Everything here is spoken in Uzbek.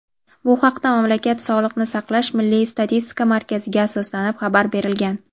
Bu haqda mamlakat Sog‘liqni saqlash milliy statistika markaziga asoslanib xabar berilgan.